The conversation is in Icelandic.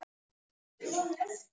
Hún er alls staðar.